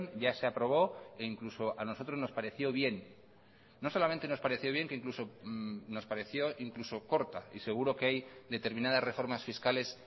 ya se aprobó e incluso a nosotros nos pareció bien no solamente nos pareció bien que incluso nos pareció incluso corta y seguro que hay determinadas reformas fiscales